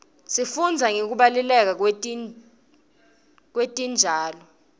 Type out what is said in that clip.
sifundza nangekubaluleka kwetitjalo